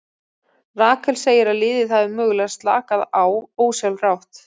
Rakel segir að liðið hafi mögulega slakað á ósjálfrátt.